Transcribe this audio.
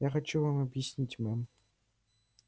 я хочу вам объяснить мэм